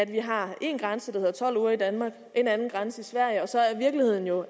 vi har en grænse der hedder tolv uger i danmark og en anden grænse i sverige og så er virkeligheden jo